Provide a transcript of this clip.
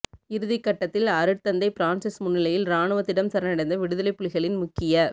இறுதிக்கட்டத்தில் அருட்தந்தை பிரான்ஸிஸ் முன்னிலையில் இராணுவத்திடம் சரணடைந்த விடுதலைப் புலிகளின் முக்கிய